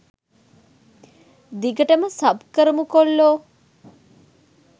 දිගටම සබ් කරමු කොල්ලෝ